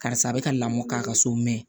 Karisa a bɛ ka lamɔ k'a ka so mɛ